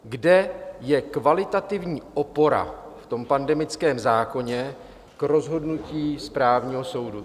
Kde je kvalitativní opora v tom pandemickém zákoně k rozhodnutí správního soudu.